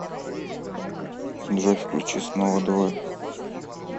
джой включи снова двое